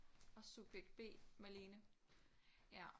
Og subjekt B Malene ja